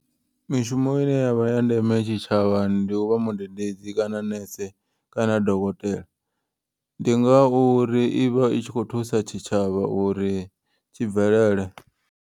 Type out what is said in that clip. Mishumo ine yavha ya ndeme tshitshavhani ndi uvha mudededzi kana nese kana dokotela. Ndi ngauri ivha i tshi kho thusa tshitshavha uri tshi bvelele.